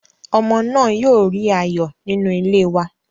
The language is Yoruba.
Ọmọ náà yóò rí ayọ̀ nínú ilé wa.